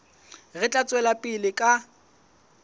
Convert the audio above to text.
re tla tswela pele ka